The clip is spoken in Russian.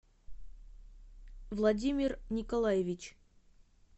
владимир николаевич